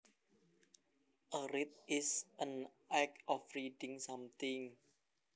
A read is an act of reading something